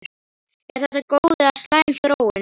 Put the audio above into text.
Er þetta góð eða slæm þróun?